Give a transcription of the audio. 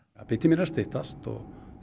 biðtíminn er að styttast og